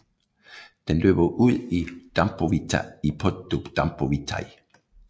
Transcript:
Den løber ud i Dâmbovița i Podu Dâmboviței